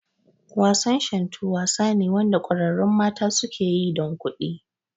Wasan Shantu wasa ne Wanda kwararrun mata suke yi dan kuɗi